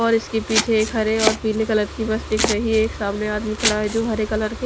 और इसके पीछे एक हरे और पीले कलर की बस दिख रही है एक सामने आदमी खड़ा है जो हरे कलर के --